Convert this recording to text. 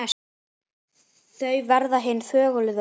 Þau verma hin þögulu orð.